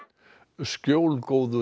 skjólgóður